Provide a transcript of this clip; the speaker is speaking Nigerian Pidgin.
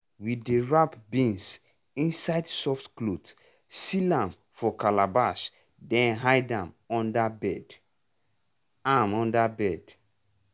we dey wrap beans inside soft cloth seal am for calabash then hide am under bed. am under bed.